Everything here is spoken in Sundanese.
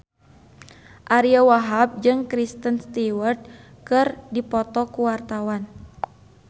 Ariyo Wahab jeung Kristen Stewart keur dipoto ku wartawan